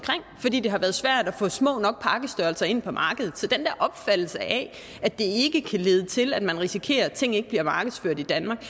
fordi det havde svært at få små nok pakkestørrelser ind på markedet så til den der opfattelse af at det ikke kan lede til at man risikerer at ting ikke bliver markedsført danmark